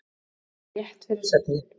Rétt fyrir svefninn.